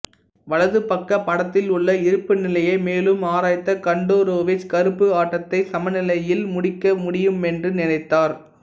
வலது பக்கப் படத்தில் உள்ள இருப்பு நிலையை மேலும் ஆராய்ந்த கண்டோரோவிச் கருப்பு ஆட்டத்தை சமநிலையில் முடிக்க முடியுமென்று நினைத்தார்